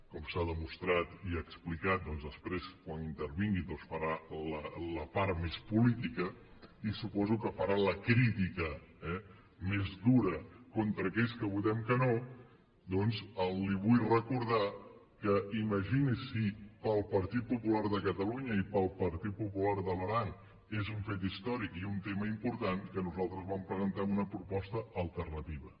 com s’ha demostrat i explicat i després quan intervingui doncs farà la part més política i suposo que farà la crítica eh més dura contra aquells que votem que no doncs li vull recordar que imagini’s si per al partit popular de catalunya i per al partit popular de l’aran és un fet històric i un tema important que nosaltres vam presentar una proposta alternativa